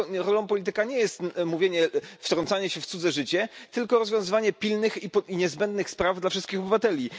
Rolą polityka nie jest wtrącanie się w cudze życie, tylko rozwiązywanie pilnych i niezbędnych spraw dla wszystkich obywateli.